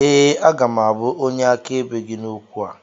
Ee, aga m abụ onye akaebe gị n’okwu a